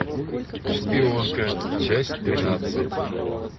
шпионка часть тринадцать